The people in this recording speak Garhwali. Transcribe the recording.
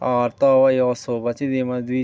और तो यौ सोफा च वैमा द्वि --